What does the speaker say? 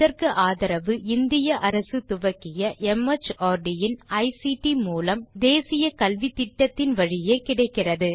இதற்கு ஆதரவு இந்திய அரசு துவக்கிய மார்ட் இன் ஐசிடி மூலம் தேசிய கல்வித்திட்டத்தின் வழியே கிடைக்கிறது